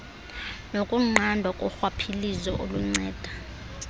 nokunqandwa korhwaphilizo okunceda